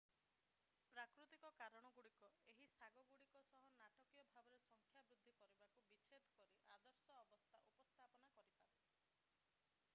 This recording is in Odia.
ପ୍ରାକୃତିକ କାରଣ ଗୁଡ଼ିକ ଏହି ଶାଗ ଗୁଡ଼ିକ ସହ ନାଟକୀୟ ଭାବରେ ସଂଖ୍ୟା ବୃଦ୍ଧି କରିବାକୁ ବିଛେଦ କରି ଆଦର୍ଶ ଅବସ୍ଥା ଉପସ୍ଥାପନ କରିପାରେ